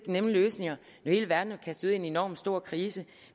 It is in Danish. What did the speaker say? nemme løsninger når hele verden er kastet ud i en enormt stor krise